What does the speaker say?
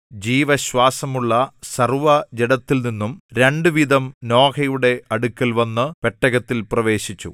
ജീവശ്വാസമുള്ള സർവ്വജഡത്തിൽനിന്നും രണ്ട് വീതം നോഹയുടെ അടുക്കൽ വന്നു പെട്ടകത്തിൽ പ്രവേശിച്ചു